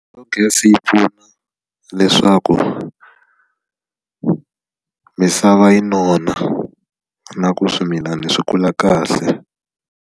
Biogasi yi pfuna leswaku misava yi nona na ku swimilana swi kula kahle.